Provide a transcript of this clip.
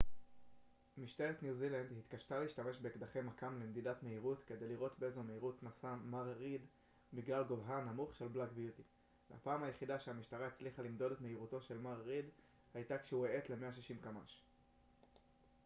משטרת ניו זילנד התקשתה להשתמש באקדחי מכ ם למדידת מהירות כדי לראות באיזו מהירות נסע מר ריד בגלל גובהה הנמוך של בלאק ביוטי והפעם היחידה שהמשטרה הצליחה למדוד את מהירותו של מר ריד הייתה כשהוא האט ל-160 קמ ש